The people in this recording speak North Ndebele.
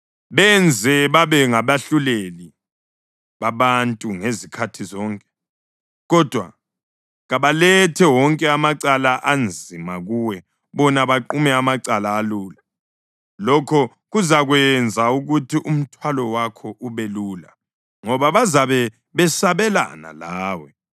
Benze babe ngabahluleli babantu ngezikhathi zonke, kodwa kabalethe wonke amacala anzima kuwe bona baqume amacala alula. Lokho kuzakwenza ukuthi umthwalo wakho ube lula ngoba bazabe besabelana lawe.